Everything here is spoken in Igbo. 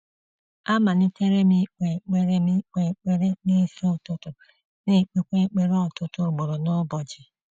A malitere m ikpe ekpere m ikpe ekpere n’isi ụtụtụ, na-ekpekwa ekpere ọtụtụ ugboro n’ụbọchị.